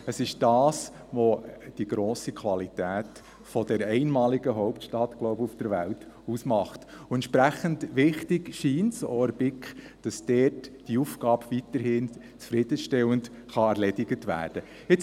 Es ist das, was die grosse Qualität dieser auf der Welt einmaligen Hauptstadt – glaube ich – ausmacht, und entsprechend wichtig scheint es auch der BiK, dass diese Aufgabe auch weiterhin zufriedenstellend erledigt werden kann.